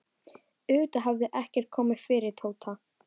Auðvitað hafði ekkert komið fyrir Tóta.